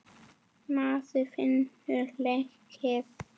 Maður finnur leið.